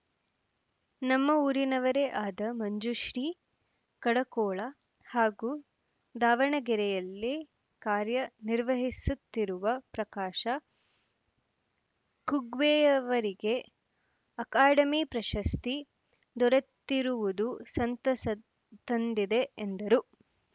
ನಮ್ಮ ಊರಿನವರೇ ಆದ ಮಂಜುಶ್ರೀ ಕಡಕೋಳ ಹಾಗೂ ದಾವಣಗೆರೆಯಲ್ಲೇ ಕಾರ್ಯ ನಿರ್ವಹಿಸುತ್ತಿರುವ ಪ್ರಕಾಶ ಕುಗ್ವೆಯವರಿಗೆ ಅಕಾಡೆಮಿ ಪ್ರಶಸ್ತಿ ದೊರೆತಿರುವುದು ಸಂತಸ ತಂದಿದೆ ಎಂದರು